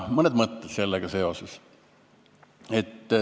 Mõned mõtted sellega seoses.